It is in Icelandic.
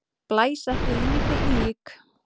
Blæs ekki lífi í lík!